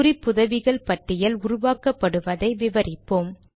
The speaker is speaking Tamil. குறிப்புதவிகள் பட்டியல் உருவாக்கப்படுவதை விவரிப்போம்